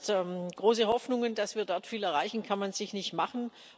Das heißt Große Hoffnungen, dass wir dort viel erreichen, kann man sich nicht machen.